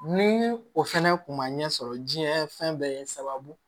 Ni o fɛnɛ kun ma ɲɛ sɔrɔ diɲɛ fɛn bɛɛ ye sababu